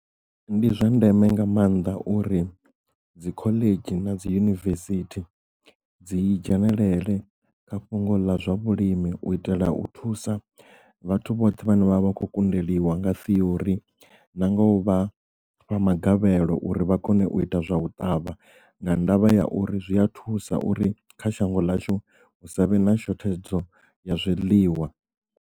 Ndi zwa ndeme nga maanḓa uri dzi khoḽedzhi na dzi yunivesithi dzi dzhenelele kha fhungo ḽa zwa vhulimi u itela u thusa vhathu vhoṱhe vhane vha vha khou kundelwa nga theory na nga u vha vha na magavhelo uri vha kone u ita zwa u ṱavha nga ndavha ya uri zwi a thusa uri kha shango ḽashu hu savhe na shothedzo ya zwiḽiwa.